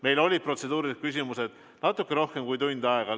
Meil kestsid protseduurilised küsimused natukene rohkem kui tund aega.